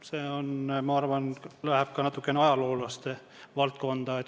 See, ma arvan, läheb ka natukene ajaloolaste valdkonda.